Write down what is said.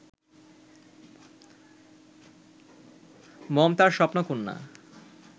মম তার স্বপ্নকন্যা